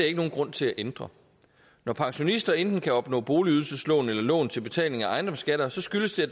ikke nogen grund til at ændre når pensionister enten kan opnå boligydelseslån eller lån til betaling af ejendomsskatter skyldes det